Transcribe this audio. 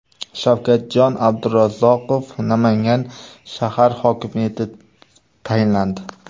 Shavkatjon Abdurazzoqov Namangan shahar hokimi etib tayinlandi.